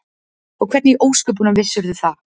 Og hvernig í ósköpunum vissirðu það?